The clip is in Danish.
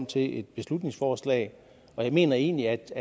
til et beslutningsforslag og jeg mener egentlig at det